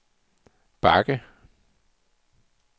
bakke